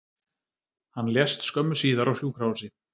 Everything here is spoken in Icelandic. Hann lést skömmu síðar á sjúkrahúsi